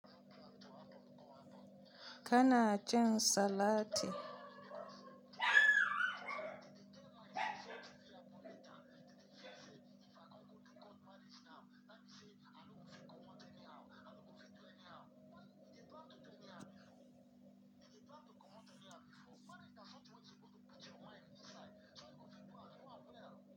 Kana cin salati?